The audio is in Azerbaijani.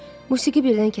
Musiqi birdən kəsildi.